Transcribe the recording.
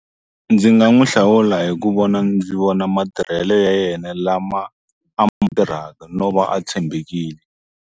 Ndzi nga n'wi hlawula hi ku vona ndzi vona matirhele ya yena lama tirhaka no va a tshembekile.